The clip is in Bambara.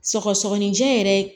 Sɔgɔsɔgɔnijɛ yɛrɛ